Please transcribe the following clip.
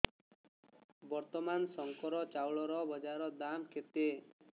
ବର୍ତ୍ତମାନ ଶଙ୍କର ଚାଉଳର ବଜାର ଦାମ୍ କେତେ